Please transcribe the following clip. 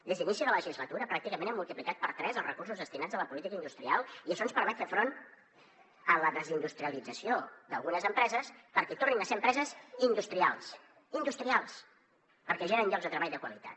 des d’inici de legislatura pràcticament hem multiplicat per tres els recursos destinats a la política industrial i això ens permet fer front a la desindustrialització d’algunes empreses perquè tornin a ser empreses industrials industrials perquè generen llocs de treball de qualitat